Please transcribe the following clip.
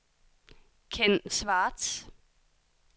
Kenn Schwartz